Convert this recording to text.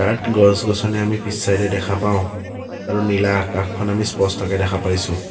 ইয়াত গছ-গছনি আমি পিছ চাইড এ দেখা পাঁও আৰু নীলা আকাশখন আমি স্পষ্টকে দেখা পাইছোঁ।